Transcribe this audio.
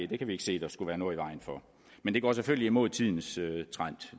det kan vi ikke se der skulle være noget i vejen for men det går selvfølgelig imod tidens trend